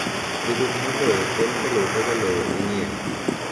Ndikruok mar lowo konyo e luwo kaka lowo ing'iewo.